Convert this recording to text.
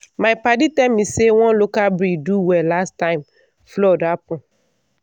my padi tell me say one local breed do well last time flood happen.